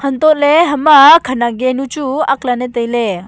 untohley hama khenak genu chu aklane tailey.